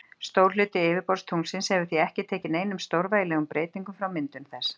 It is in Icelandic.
Stór hluti yfirborðs tunglsins hefur því ekki tekið neinum stórvægilegum breyting frá myndun þess.